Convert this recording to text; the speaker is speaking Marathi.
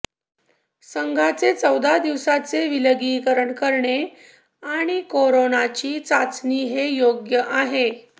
संघाचे चौदा दिवसांचे विलगीकरण करणे आणि करोनाची चाचणी हे योग्य आहे